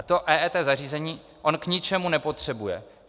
A to EET zařízení on k ničemu nepotřebuje.